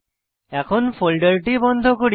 এখন ফোল্ডারটি বন্ধ করি